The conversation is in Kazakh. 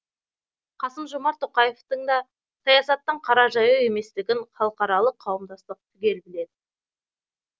қасым жомарт тоқаевтың да саясаттан қара жаяу еместігін халықаралық қауымдастық түгел біледі